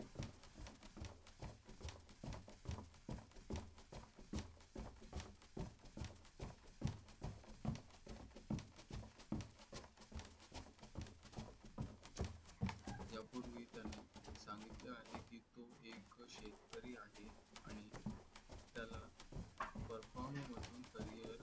यापूर्वी त्याने सांगितले आहे की तो एक शेतकरी आहे आणि त्याला perform म्हणून करिअर